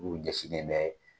O ɲɛsilen bɛ